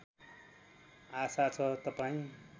आशा छ तपाईँ